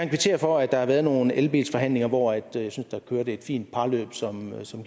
kvittere for at der har været nogle elbilforhandlinger hvor jeg synes der kørte et fint parløb som som